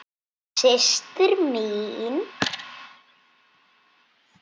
Systir mín.